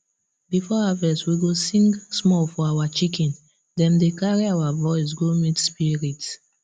before harvest we go sing small for our chicken dem dey carry our voice go meet spirit